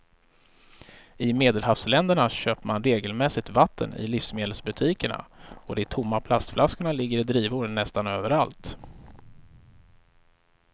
I medelhavsländerna köper man regelmässigt vatten i livsmedelsbutikerna och de tomma plastflaskorna ligger i drivor nästan överallt.